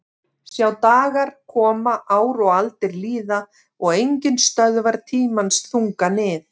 Sjá dagar koma ár og aldir líða og enginn stöðvar tímans þunga nið